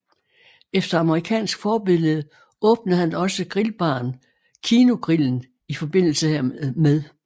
Efter amerikansk forbillede åbnede han også grillbaren Kinogrillen i forbindelse hermed